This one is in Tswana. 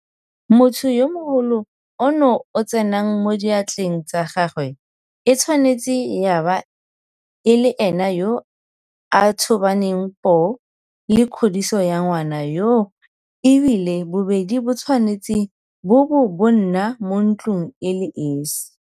Motho yo mogolo ono o tsenang mo diatleng tsa gagwe e tshwanetse ya bo e le ene yo a tobaneng poo le kgodiso ya ngwana yoo e bile bobedi bo tshwanetse bo bo bo nna mo ntlong e le esi.